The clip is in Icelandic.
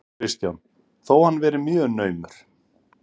Kristján: Þó hann verið mjög naumur?